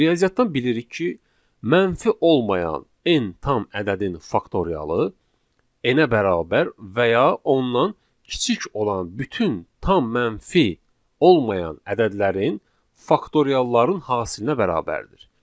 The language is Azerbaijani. Riyaziyyatdan bilirik ki, mənfi olmayan n tam ədədin faktorialı n-ə bərabər və ya ondan kiçik olan bütün tam mənfi olmayan ədədlərin faktorialların hasilinə bərabərdir.